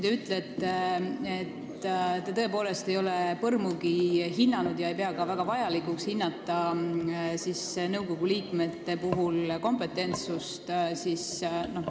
Te ütlesite, et te tõepoolest ei ole põrmugi hinnanud ega pea ka väga vajalikuks hinnata nõukogu liikmete kompetentsust.